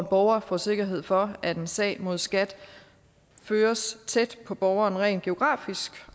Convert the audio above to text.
borgeren får sikkerhed for at en sag mod skat føres tæt på borgeren rent geografisk